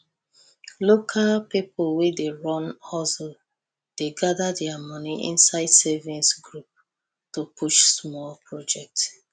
local people wey dey run hustle dey gather their money inside savings group to push small project